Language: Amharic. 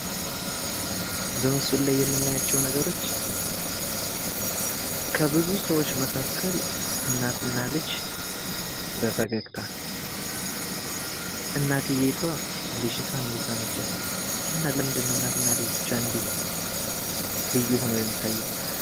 በምስሉ ላይ የምናያቸው ነገሮች ከብዙ ሰዎች መካከል እናትና ልጅ በፈገግታ እናቲቷ ልጅቷን እየሳመቻት ነው። እና ለምንድን ነው እናትና ልጅ ብቻ እንድህ ልዩ ሁነው የሚታዩት?